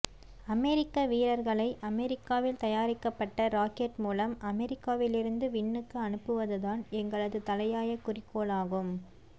அமெரிக்க வீரர்களை அமெரிக்காவில் தயாரிக்கப்பட்ட ராக்கெட் மூலம் அமெரிக்காவிலிருந்து விண்ணுக்கு அனுப்புவதுதான் எங்களது தலையாய குறிக்கோளாகும்